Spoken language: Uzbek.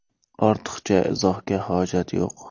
Ortiqcha izohga hojat yo‘q!